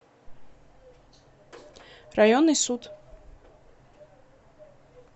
районный суд